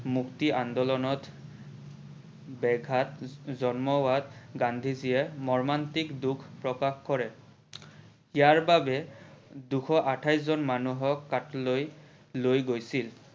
মুক্তি আন্দোলনত ব্যাঘাত জন্মোৱাত গান্ধী জিয়ে মৰ্মান্তিক দোষ প্ৰকাশ কৰে। ইয়াৰ বাবে দুশ আঠাইশ জন মানুহক লৈ গৈছিল।